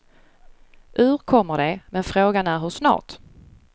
Ur kommer de, men frågan är hur snart.